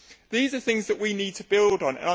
These are things that we need to build on.